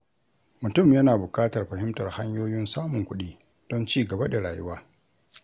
Mutum yana bukatar fahimtar hanyoyin samun kuɗi don ci gaba da rayuwa.